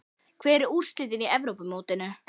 Hver er í úrslitunum á Evrópumótinu?